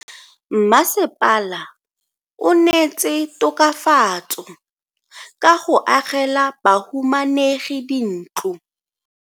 Mmasepala o neetse tokafatso ka go agela bahumanegi dintlo.